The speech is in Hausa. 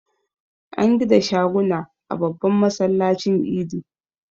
An gida shaguna a babban masallacin Idi.